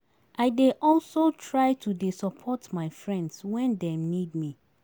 I dey also try to dey support my friends wen dem need me.